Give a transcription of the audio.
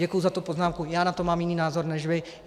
Děkuji za tu poznámku, já na to mám jiný názor než vy.